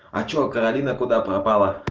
а что каролина куда пропала